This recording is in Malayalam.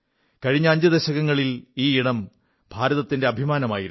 കഴിഞ്ഞ 5 ദശകങ്ങളിൽ ഈ ഇടം ഭാരതത്തിന്റെ അഭിമാനമായിരുന്നു